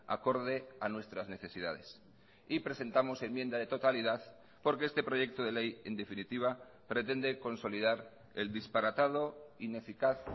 acorde a nuestras necesidades y presentamos enmienda de totalidad porque este proyecto de ley en definitiva pretende consolidar el disparatado ineficaz